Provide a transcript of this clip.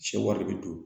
Sɛ wari bɛ don